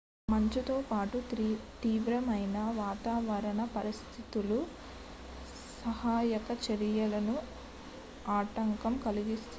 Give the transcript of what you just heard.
మంచుతో పాటు తీవ్రమైన వాతావరణ పరిస్థితులు సహాయక చర్యలకు ఆటంకం కలిగిస్తున్నాయి